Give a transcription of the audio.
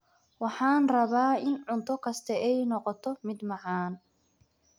Waxaan rabaa in cunto kasta ay noqoto mid macaan.